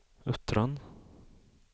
Uttran